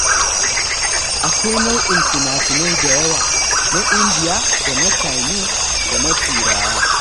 Akwai nau'in finafinai da yawa, na Indiya da na Canis da na Turawa.